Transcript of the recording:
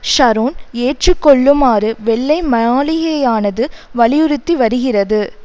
Sharon ஏற்று கொள்ளுமாறு வெள்ளை மாளிகையானது வலியுறுத்தி வருகிறது